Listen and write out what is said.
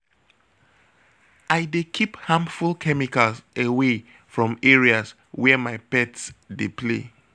I dey keep harmful chemicals away from areas where my pet dey play.